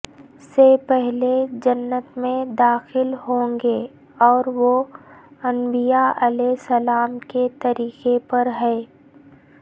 سے پہلے جنت میں داخل ہوں گے اور وہ انبیاءعلیہم السلام کے طریقے پر ہیں